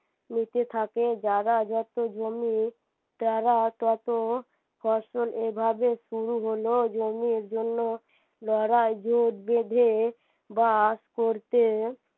নিতে থাকে যারা যত জমি তারা ততো ফসল এভাবে শুরু হল জমির জন্য লড়াই জেট বেঁধে বাস করতে